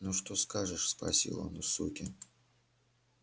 ну что скажешь спросил он у суки